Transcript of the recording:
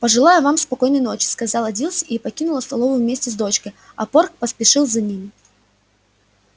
пожелаю вам спокойной ночи сказала дилси и покинула столовую вместе с дочкой а порк поспешил за ними